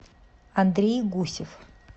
андрей гусев